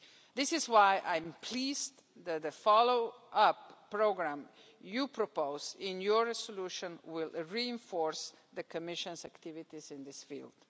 This is why I am pleased that the follow up programme you propose in your resolution will reinforce the Commission's activities in this field.